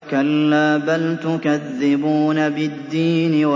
كَلَّا بَلْ تُكَذِّبُونَ بِالدِّينِ